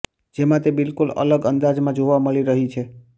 જેમાં તે બિલકુલ અલગ અંદાજમાં જોવા મળી રહી છે